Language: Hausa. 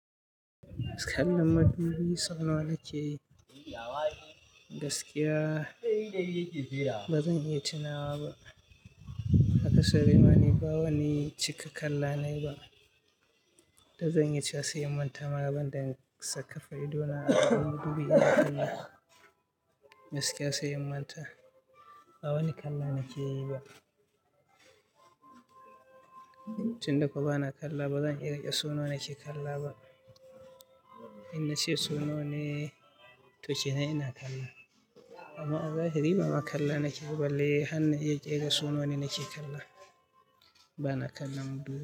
Kallon madubi sauna wa nake yi? Gaskiya ba zan iya tunawa ba. Hakasa Rin ba wani cika kalla na yi ba. Da zan iya cewa sai in manta magaban da sakafaru idona akan madubi. Gaskiya sai in manta. Ba wani kalla nake yi ba. Tun da kuwa bana kalla ba zan iya rike saunawa nake kala ba. In na ce saunawane to kenan ina kalla. Amma a zahiri ba kala nake yi bal. Le har na iya ƙera saunawane nake kalla. Bana kalla madubi.